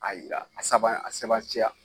A yira a saba a seban ciya